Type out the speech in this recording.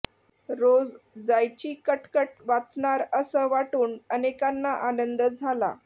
रोज जायची कटकट वाचणार असं वाटून अनेकांना आनंद झाला